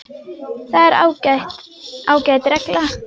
Það er ágæt regla.